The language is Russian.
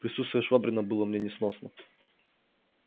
присутствие швабрина было мне несносно